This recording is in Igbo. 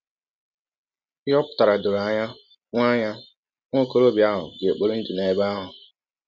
Ihe ọ pụtara dọrọ anya: Nwa anya: Nwa ọkọrọbịa ahụ ga - ekpọri ndụ n’ebe ahụ.